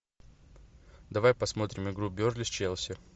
давай посмотрим игру бернли с челси